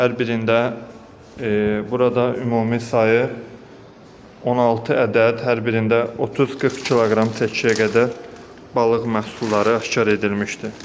Hər birində burada ümumi sayı 16 ədəd, hər birində 30-40 kq çəkiyə qədər balıq məhsulları aşkar edilmişdir.